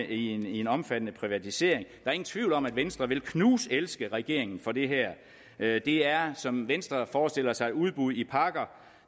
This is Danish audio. i en omfattende privatisering er ingen tvivl om at venstre vil knuselske regeringen for det her det er som venstre forestiller sig det udbud i pakker